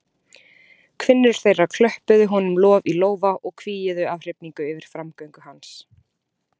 Kvinnur þeirra klöppuðu honum lof í lófa og hvíuðu af hrifningu yfir framgöngu hans.